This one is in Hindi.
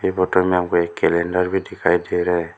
होटल में हमें एक कैलेंडर भी दिखाई दे रहा है।